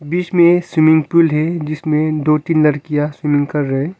बीच में swimming pool है जिसमें दो तीन लड़कियाँ स्विमिंग कर रहे हैं।